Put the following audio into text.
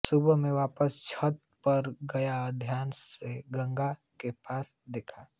सुबह मैं वापस छत पर गया और ध्यान से गंगा के पार देखा